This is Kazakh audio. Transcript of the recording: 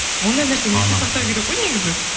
ондай нәрсені есте сақтау керек қой негізі